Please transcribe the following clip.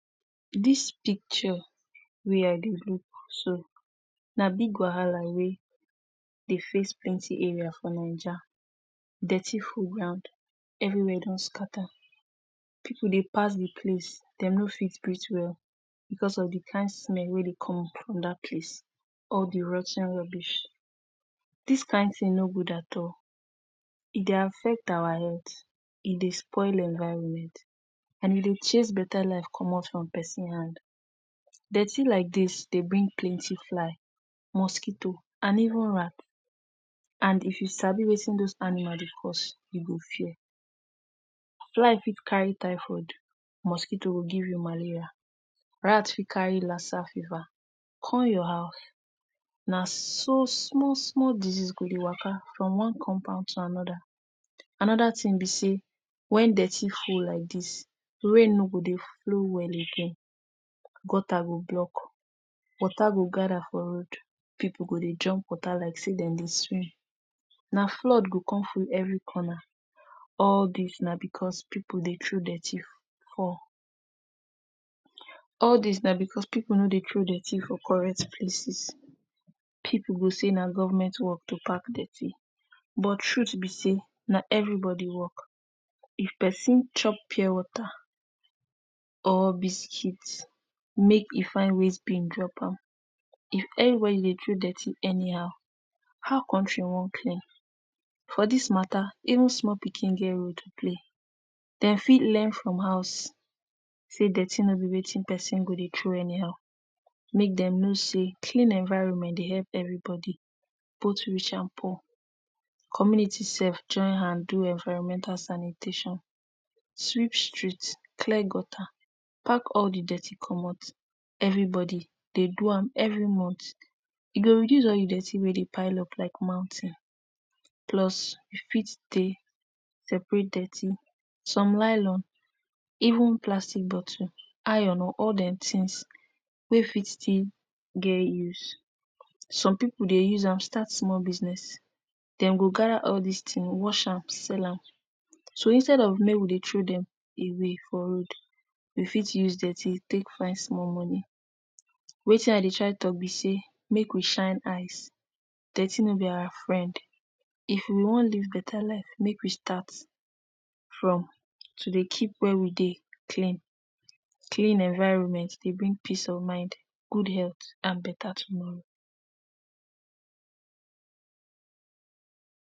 Dis picture wey I dey look so na big wahala wey dey face plenty area for Naija. Dirty full ground, everywhere don scatter, pipu dey pass the place, de no fit breathe well because of the kind smell wey dey come from that place - all the rot ten rubbish. Dis kind thing no good at all. E dey affect awa health, e dey spoil environment and e dey chase better life comot from pesin hand. Dirty like dis dey bring plenty fly, mosquito and even rat. And if you sabi wetin those animal dey cause, you go fear. Fly fit carry typhoid, mosquito go give you malaria, rat fit carry lassa fever come your house. Na so small-small disease go dey waka from one compound to another. Another thing be sey when dirty full like dis, rain no go dey flow well again, gutter go block, water go gather for road, pipu go dey jump water like sey de dey swim, na flood go come full every corner. All dis na because pipu dey throw dirty for all dis na because pipu no dey throw dirty for correct places. Pipu go say na government work to pack dirty, but truth be sey na everybody work. If pesin chop pure water or biscuit, make e find waste bin drop am. If everybody dey throw dirty anyhow, how country wan clean? For dis mata, even small pikin get role to play. Dem fit learn from house sey dirty no be wetin pesin go dey throw anyhow. Make dem know sey clean environment dey help everybody – both rich and poor. Community sef join hand do environmental sanitation, sweep street, clear gutter, pack all the dirty comot. Everybody dey do am every month, e go reduce all the dirty wey dey pile up like mountain. Plus you fit stay separate dirty. Some nylon, even plastic bottle, iron or ore-dem things wey fit still get use. Some pipu dey use am start small business. Dem go gather all dis thing, wash am, sell am. So instead of make we dey throw dem away for road, you fit use dirty take find small money. Wetin I dey try talk be sey make we shine eyes. Dirty no be awa friend. If we wan live better life, make we start from to dey keep where we dey clean. Clean environment dey bring peace of mind, good health and better tomorrow.